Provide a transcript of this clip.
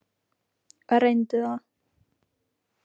Reyndu það.